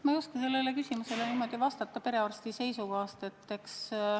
Ma ei oska sellele küsimusele perearsti seisukohast vastata.